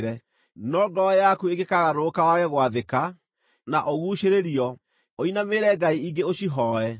No ngoro yaku ĩngĩkagarũrũka wage gwathĩka, na ũguucĩrĩrio, ũinamĩrĩre ngai ingĩ ũcihooe,